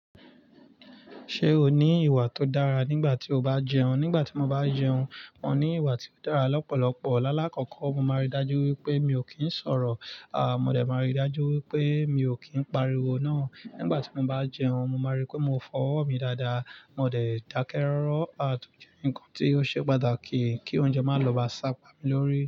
Ṣé o ní ìwà tó dára nígbà tí o bá jẹun? Nígbà tí mo bá jẹun, mo ní ìwà tí ó dára lọ́pọ̀lọpọ̀. Lálá kọ́kọ́, mo máa rí dájú wípé mi ò kí ń sọ̀rọ̀. À, mo dẹ̀ máa rí dájú wípé mi ò kí ń pariwo ná. Nígbà tí mo bá jẹun, mo máa rí pé mo fọwọ́ mi dáadáa. Mo dẹ̀ dákẹ́ rọ́rọ́. À, tún jẹ́ ǹkan tí ó ṣe pàtàkì kí oúnjẹ má lọ bá sá pá mi lórí.